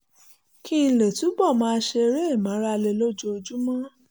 kí n lè túbọ̀ máa ṣe eré ìmárale lójoojúmọ́